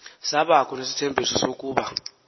sabakho nesithembiso sokuba